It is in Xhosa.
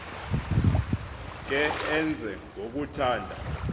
ke enze ngokuthanda